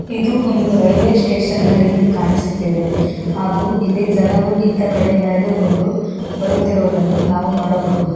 ಇದು ಒಂದು railway station ನ ರೀತಿ ಕಾಣಿಸುತ್ತಿದೆ ಹಾಗು ಇಲ್ಲಿ ಜನರು ಇತ್ತ ಕಡೆ ನಡೆದುಕೊಂಡು ಬರುತ್ತಿರುವುದನ್ನು ನಾವು ನೋಡಬಹುದು.